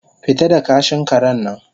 fita da kashin karen nan